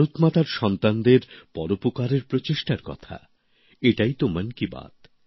ভারত মাতার ছেলেমেয়েদের পরোপকারের প্রচেষ্টার কথা এটাই তো মন কি বাত